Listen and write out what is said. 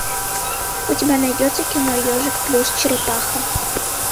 у тебя найдется кино ежик плюс черепаха